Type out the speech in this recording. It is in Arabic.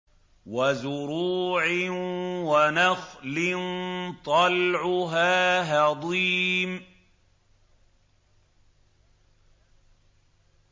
وَزُرُوعٍ وَنَخْلٍ طَلْعُهَا هَضِيمٌ